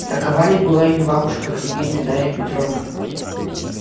такова ли была её бабушка княгиня дарья петровна